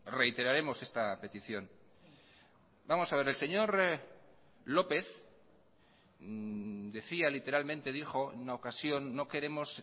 reiteraremos esta petición vamos a ver el señor lópez decía literalmente dijo enuna ocasión no queremos